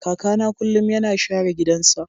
kakana kullum yana share gidansa.